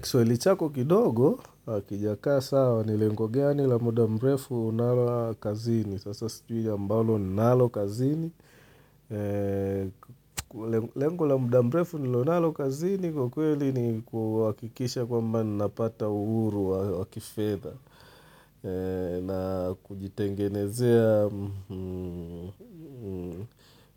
Kiswahili chako kidogo, hakijakaa sawa. Ni lengo gani la muda mrefu unalo kazini. Sasa sijui ambalo ninalo kazini. Lengo la muda mrefu nilionalo kazini kwa kweli ni kuhakikisha kwamba napata uhuru wakifedha na kujitengenezea